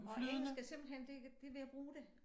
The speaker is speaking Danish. Og engelsk er simpelthen det det ved at bruge det